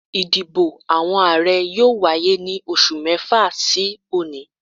Ìdìbò àwọn Ààrẹ yóò wáyé ní oṣù mẹ́fà sí òní